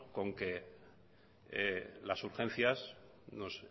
con que las urgencias nos